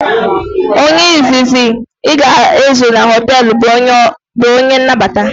Onye izizi ị ga ezu na hoteelu bụ onye nnabata